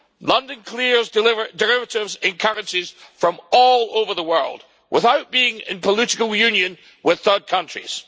London clears derivatives and currencies from all over the world without being in political union with third countries.